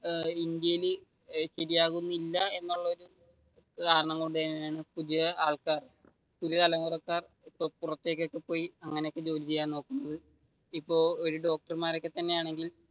കാരണം കൊണ്ടുതന്നെയാണ് പുതിയ ആൾക്കാർ പുതിയ തലമുറക്കാർ പുറത്തേക്ക് ഒക്കെപോയി അങ്ങനെ ജോലി ചെയ്യാൻ നോക്കുന്നത് ഇപ്പൊ ഒരു ഡോക്ടർമാർ ഒക്കെ തന്നെയാണെങ്കിൽ,